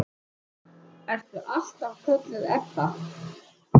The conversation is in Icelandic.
Ertu alltaf kölluð Ebba?